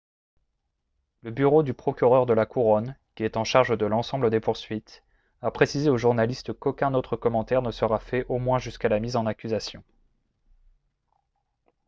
le bureau du procureur de la couronne qui est en charge de l'ensemble des poursuites a précisé aux journalistes qu'aucun autre commentaire ne sera fait au moins jusqu'à la mise en accusation